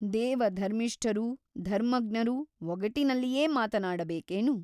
ದೇವ ಧರ್ಮಿಷ್ಠರೂ ಧರ್ಮಜ್ಞರೂ ಒಗಟಿನಲ್ಲಿಯೇ ಮಾತನಾಡ ಬೇಕೇನು?